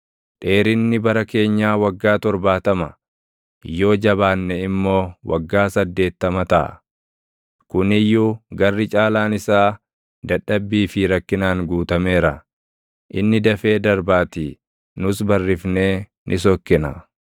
Dheerinni bara keenyaa waggaa torbaatama, yoo jabaanne immoo waggaa saddeettama taʼa; kuni iyyuu garri caalaan isaa dadhabbii fi rakkinaan guutameera; inni dafee darbaatii; nus barrifnee ni sokkina.